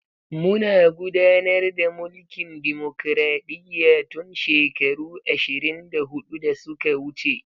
Muna gudanar da mulkin dimokraɗiyya tun shekaru ashirin da hudu da suka wuce.